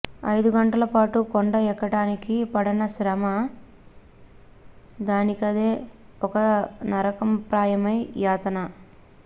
ఐదు గంటల పాటు కొండ ఎక్కటానికి పడన శ్రమ దానికదే ఒక నరకప్రాయమైన యాతన